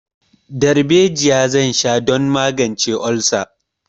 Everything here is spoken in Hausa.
Darbejiya zan sha don magance olsa.